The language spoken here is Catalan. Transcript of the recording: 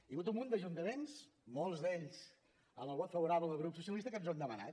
hi ha hagut un munt d’ajuntaments molts d’ells amb el vot favorable del grup socialista que ens ho han demanat